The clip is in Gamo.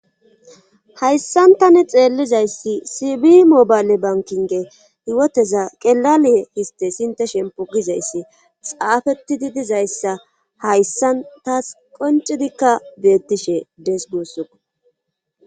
hayssantani xeellizayssi sibi mobayle bankinge hiwoteza qelaliye histe sinte shempo gizayssi xaafeti di dizayssa hayssan taas qoncidikka beettishe dees guussuko